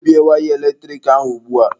Gbubie waya eletrik ahụ ugbua!